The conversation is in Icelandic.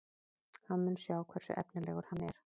Hann mun sjá hversu efnilegur hann er.